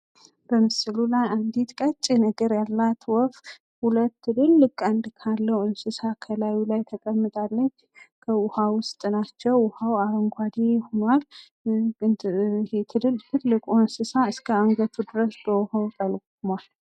በምስሉ ላይ አንዲት ቀጭን እግር ካላት ወፍ ሁለት ትልልቅ ቀንድ ካለው እንሰሳ ከላዩ ላይ ተቀምጣለች። ከውሀ ውስጥ ናቸው ውሀው አረጓዴ ሁኗል። ትልቁ እንሰሳ እስከ አንገቱ ድረስ በውሀው ጠልሟል።